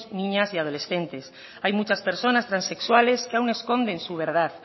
niñas y adolescentes hay muchas personas transexuales que aun esconden su verdad